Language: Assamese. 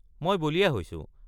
মই বলিয়া হৈছো।